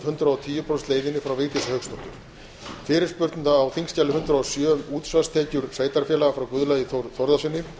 hundrað og tíu prósenta leiðinni frá vigdísi hauksdóttur fyrirspurn á þingskjali hundrað og sjö um útsvarstekjur sveitarfélaga frá guðlaugi þór þórðarsyni